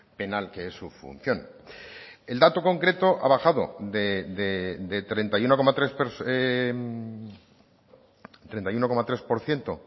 penal que es su función el dato concreto ha bajado de treinta y uno coma tres treinta y uno coma tres por ciento